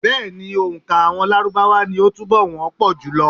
Bẹ́ẹ̀ ni, òǹkà àwọn Lárúbáwá ni ó túnbọ̀ wọ́ pọ̀ jùlọ.